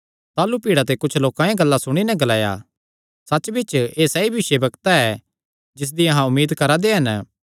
ताह़लू भीड़ा ते कुच्छ लोकां एह़ गल्लां सुणी नैं ग्लाया सच्च बिच्च एह़ सैई भविष्यवक्ता ऐ जिसदी अहां उम्मीद करा दे हन